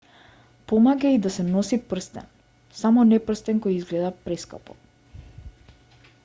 помага и да се носи прстен само не прстен кој изгледа прескапо